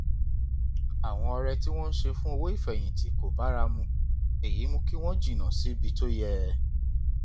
àwọn ọrẹ tí wọn ń ṣe fún owó ìfẹyìntì kò bára mu èyí mú kí wọn jìnnà síbi tó yẹ